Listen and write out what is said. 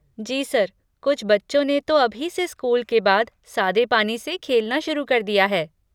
जी sir, कुछ बच्चों ने तो अभी से स्कूल के बाद सादे पानी से खेलना शुरू कर दिया है।